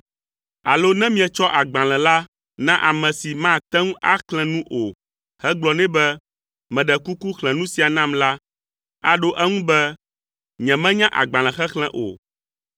Alo ne mietsɔ agbalẽ la na ame si mate ŋu axlẽ nu o hegblɔ nɛ be, “Meɖe kuku xlẽ nu sia nam” la, aɖo eŋu be, “Nyemenya agbalẽxexlẽ o.”